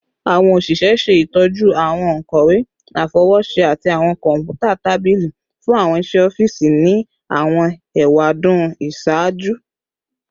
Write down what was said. Awọn oṣiṣẹ ṣe itọju awọn onkọwe afọwọṣe ati awọn kọnputa tabili fun awọn iṣẹ ọfiisi ni awọn ewadun iṣaaju